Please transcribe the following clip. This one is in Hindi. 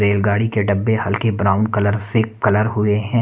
रेलगाड़ी के डब्बे हल्के ब्राउन कलर से कलर हुए हैं।